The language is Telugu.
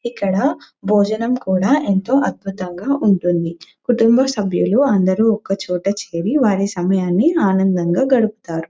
ఇక్కడ భోజనం కూడా ఎంతో అద్భుతంగా ఉంటుంది కుటుంబసభ్యులు అందరూ ఒక్క చోట చేరి వారి సమయాన్ని ఆనందంగా గడుపుతారు.